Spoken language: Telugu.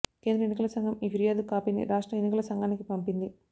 కేంద్ర ఎన్నికల సంఘం ఈ ఫిర్యాదు కాపీని రాష్ట్ర ఎన్నికల సంఘానికి పంపింది